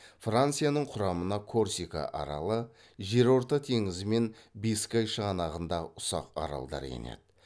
францияның құрамына корсика аралы жерорта теңізі мен бискай шығанағындағы ұсақ аралдар енеді